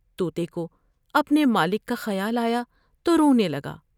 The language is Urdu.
تو تے کو اپنے مالک کا خیال آیا تو رونے لگا ۔